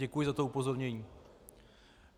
Děkuji za to upozornění.